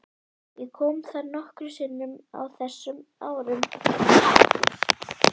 Ég kom þar nokkrum sinnum á þessum árum.